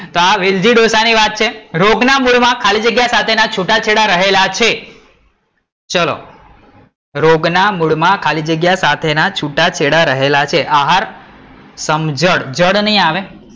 તો આ વેલજી ડોસા ની વાત છે રોગ ના મૂળ માં ખાલી જગ્યા સાથે ના છૂટાછેડા રહેલા છે ચલો, રોગ ના મૂળ માં ખાલી જગ્યા સાથે ના છૂટાછેડા રહેલા છે આહાર, સમજણ.